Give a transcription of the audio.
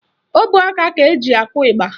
Ọbọaka ka eji akụ ịgba